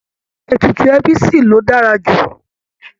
Ètùtù ẹbí ṣì ló dára jù